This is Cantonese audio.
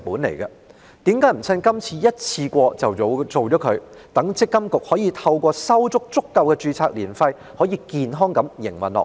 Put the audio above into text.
為甚麼不趁這次修例處理妥當，讓積金局可以收取足夠註冊年費，健康地營運下去？